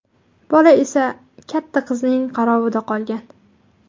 Bola esa katta qizning qarovida qolgan.